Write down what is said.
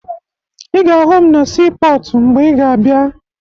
Ị ga-ahụ m na siipọọtụ mgbe ị ga-abịa